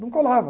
Não colava.